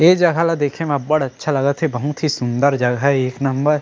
ए जगह ला देखे में बढ़ अच्छा लागत हे बहुत ही सुंदर जगह एक नंबर --